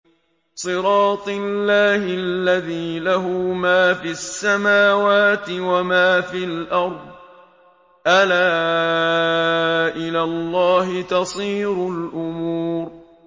صِرَاطِ اللَّهِ الَّذِي لَهُ مَا فِي السَّمَاوَاتِ وَمَا فِي الْأَرْضِ ۗ أَلَا إِلَى اللَّهِ تَصِيرُ الْأُمُورُ